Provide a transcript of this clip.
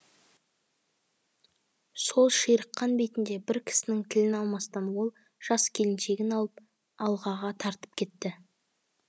сол ширыққан бетінде бір кісінің тілін алмастан ол жас келіншегін алып алғаға тартып кетті